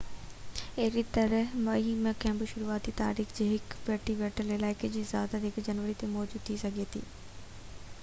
اهڙي طرح مئي ۾ ڪنهن بہ شروعاتي تاريخ لاءِ هڪ پٺتي پيل علائقي جي اجازت 1 جنوري تي موجود ٿي سگهي ٿي